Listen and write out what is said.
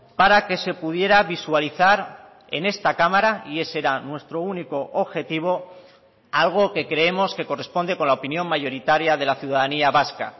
para que se pudiera visualizar en esta cámara y ese era nuestro único objetivo algo que creemos que corresponde con la opinión mayoritaria de la ciudadanía vasca